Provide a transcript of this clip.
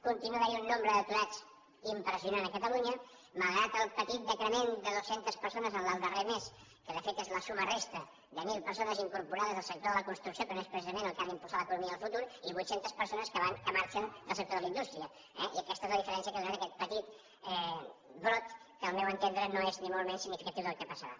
continua havent hi un nombre d’aturats impressionant a catalunya malgrat el petit decrement de dues centes persones en el darrer mes que de fet és la suma resta de mil persones incorporades al sector de la construcció que no és precisament el que ha d’impulsar l’economia del futur i vuit centes persones que marxen del sector de la indústria eh i aquesta és la diferència que ha donat aquest petit brot que al meu entendre no és ni molt menys significatiu del que passarà